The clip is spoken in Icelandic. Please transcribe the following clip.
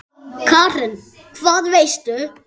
Karen: Hvað veistu?